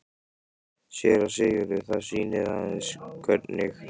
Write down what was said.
SÉRA SIGURÐUR: Það sýnir aðeins hvernig